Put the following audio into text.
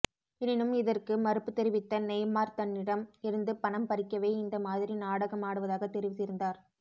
எனினும் இதற்கு மறுப்பு தெரிவித்த நெய்மார் தன்னிடம் இருந்து பணம் பறிக்கவே இந்த மாதிரி நாடகம் ஆடுவதாக தெரிவித்திருந்தார்